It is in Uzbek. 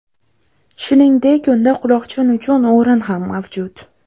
Shuningdek, unda quloqchin uchun o‘rin ham mavjud.